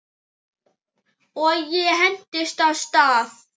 Og ég hentist af stað.